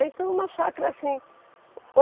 Então uma chácara assim.